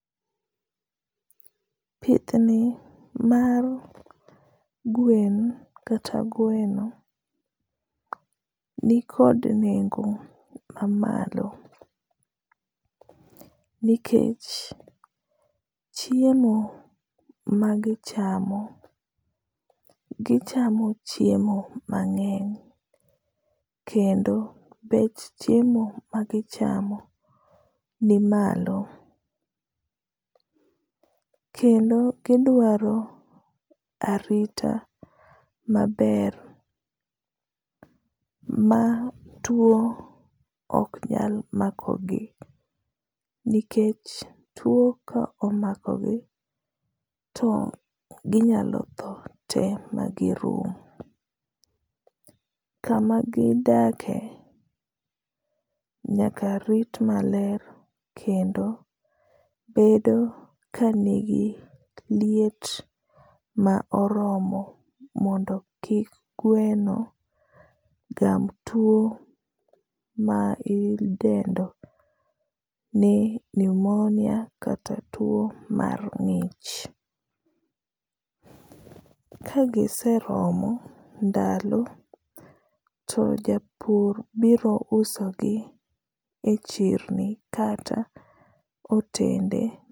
Pithni mar gwen kata gweno ni kod nengo ma malo, nikech chiemo ma gichamo, gichamo chiemo mangény, kendo bech chiemo magichamo ni malo. Kendo gidwaro arita maber, ma two oknyal mako gi, nikech two ka omakogi to ginyalo tho te magirum. Kama gidake, nyaka rit maler kendo bedo kanigi liet ma oromo mondo kik gweno gam two ma idendo ni pneumonia kata two mar ngích. Kagiseromo ndalo, to japur biro uso gi e chirni kata hotende.